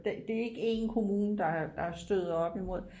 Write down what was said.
det er ikke en kommune der støder op imod